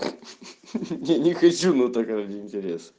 ха-ха не хочу но так ради интереса